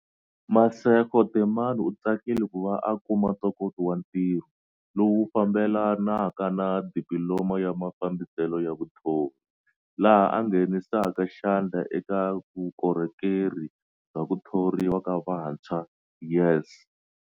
Masego Temane u tsakile ku va a kuma ntokoto wa ntirho, lowu wu fambelanaka na Dipililoma ya Mafambiselo ya Vuthori, laha a nghenisaka xandla eka Vukorhokeri bya ku Thoriwa ka Vantshwa, YES.